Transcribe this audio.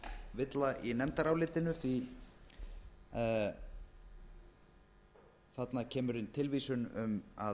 villa í nefndarálitinu því þarna kemur inn tilvísun um að